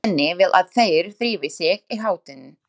Svenni vill að þeir drífi sig í háttinn.